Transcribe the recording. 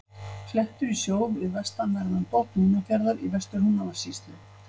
Klettur í sjó við vestanverðan botn Húnafjarðar í Vestur-Húnavatnssýslu.